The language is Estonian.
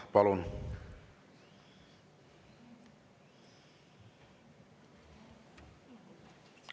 Palun!